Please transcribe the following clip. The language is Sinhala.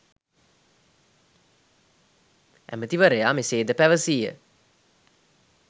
ඇමතිවරයා මෙසේද පැවසීය